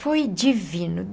Foi divino.